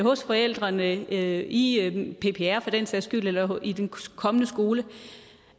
hos forældrene i ppr for den sags skyld eller i den kommende skole